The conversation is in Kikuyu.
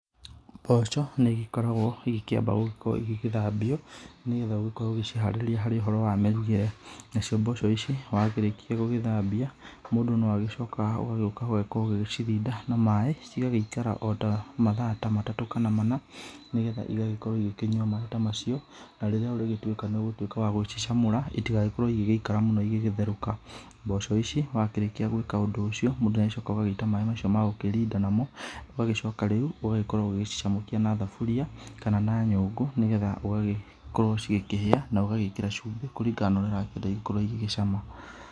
Mboco nĩ ĩgĩgĩkoragwo ĩgĩkĩamba gũgĩkorwo ĩgĩgĩthambĩo, nĩgetha ũgĩgĩkowo ũgĩgĩciharĩrĩa ũhoro inĩ wa mĩrugĩre nacio mboco ici wakĩrĩkĩa gũgĩthambia , mũndũ no agĩcokaga gũgĩcirida na maĩ ci gagĩikara ota mathaa matatũ kana mana nĩgetha ĩgagĩkorwo ĩgĩkĩnyũa maĩ ta macio na rĩrĩa nĩ ũgũtũĩka nĩ ũgũcicamũra ĩtagĩkorwo ĩgĩgĩikara mũno ĩgĩgĩtherũka, mboco ici wakĩrĩkĩa gũĩka ũndũ ũcio mũndũ nĩagĩkoragwo agĩĩta maĩ macio ma gũkĩrĩnda mano ũgagĩcoka rĩũ ũgagĩkorwo ũgagĩcicamũkĩa na thabũria kana na nyũngũ nĩgetha ũgagĩkorwo cigĩkĩhĩa no ũgagĩkĩra cũmbĩ kũrĩngana na ũrĩa ũrakĩenda ĩgĩkorwo ĩgĩcama.